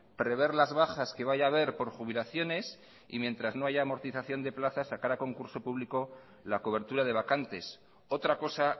prever las bajas que vaya haber por jubilaciones y mientras que no haya amortización de plazas sacar a concurso público la cobertura de vacantes otra cosa